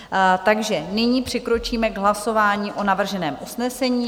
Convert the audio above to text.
Takže nyní přikročíme k hlasování o navrženém usnesení.